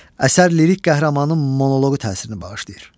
Əsər lirik qəhrəmanın monoqu təsirini bağışlayır.